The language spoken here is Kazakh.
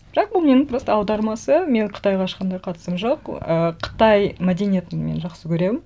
бірақ бұл менің просто аудармасы менің қытайға ешқандай қатысым жоқ ыыы қытай мәдениетін мен жақсы көремін